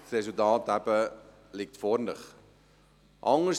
Das Resultat liegt vor Ihnen.